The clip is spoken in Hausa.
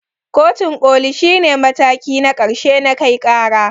Kotun koli shi ne mataki na ƙarshe na kai ƙara.